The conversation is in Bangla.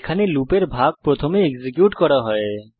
এখানে লুপের ভাগ প্রথমে এক্সিকিউট করা হয়েছে